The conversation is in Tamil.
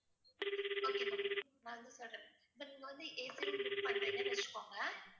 okay ma'am நான் வந்து சொல்றேன் இப்போ வந்து AC room book பண்றீங்கன்னு வச்சுக்கோங்க